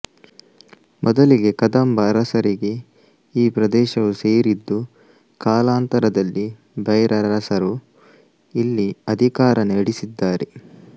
ಮೊದಲಿಗೆ ಕದಂಬ ಅರಸರಿಗೆ ಈ ಪ್ರದೇಶವು ಸೇರಿದ್ದು ಕಾಲಾಂತರದಲ್ಲಿ ಭೈರರಸರು ಇಲ್ಲಿ ಅಧಿಕಾರ ನಡೆಸಿದ್ದಾರೆ